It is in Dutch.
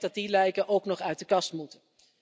Ik denk dat die lijken ook nog uit de kast moeten.